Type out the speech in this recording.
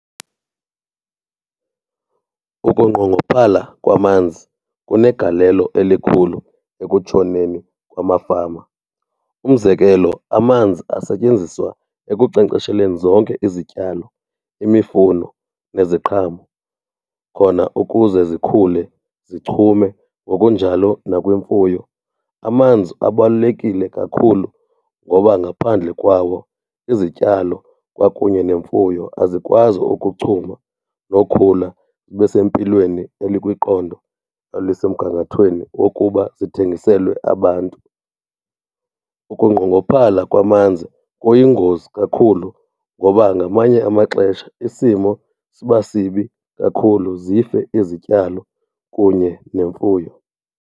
Ukungqongophala kwamanzi kunegalelo elikhulu ekutshoneni kwamafama. Umzekelo amanzi asetyenziswa ekunkcenkcesheleni zonke izityalo, imifuno neziqhamo khona ukuze zikhule zichume, ngokunjalo nakwimfuyo. Amanzi abalulekile kakhulu ngoba ngaphandle kwawo izityalo kwakunye nemfuyo azikwazi ukuchuma nokhula zibe sempilweni elikwiqondo elisemgangathweni wokuba zithengiselwe abantu. Ukunqongophala kwamanzi kuyingozi kakhulu ngoba ngamanye amaxesha isimo siba sibi kakhulu zife izityalo kunye nemfuyo.